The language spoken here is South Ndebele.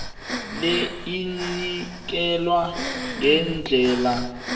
le inikelwa ngendlela